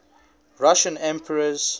russian emperors